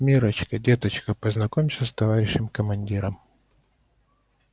миррочка деточка познакомься с товарищем командиром